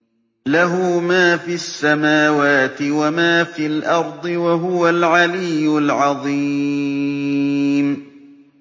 لَهُ مَا فِي السَّمَاوَاتِ وَمَا فِي الْأَرْضِ ۖ وَهُوَ الْعَلِيُّ الْعَظِيمُ